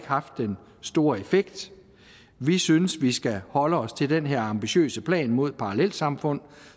haft den store effekt vi synes at vi skal holde os til den her ambitiøse plan mod parallelsamfund